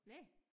Næ!